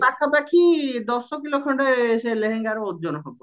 ପାଖା ପାଖି ଦଶ କିଲ ଖଣ୍ଡେ ସେ ଲେହେଙ୍ଗର ଓଜନ ହବ